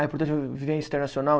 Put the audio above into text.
É importante viver internacional?